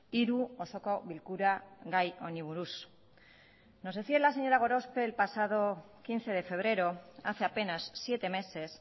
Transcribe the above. hiru osoko bilkura gai honi buruz nos decía la señora gorospe el pasado quince de febrero hace apenas siete meses